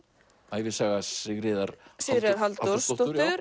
ævisaga Sigríðar Sigríðar Halldórsdóttur